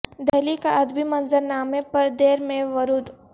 دہلی کا ادبی منظر نامے پر دیر میں ورود